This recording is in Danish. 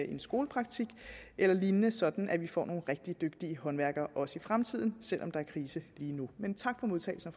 en skolepraktik eller lignende sådan at vi får nogle rigtig dygtige håndværkere også i fremtiden selv om der er krise lige nu men tak for modtagelsen